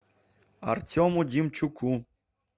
артему демчуку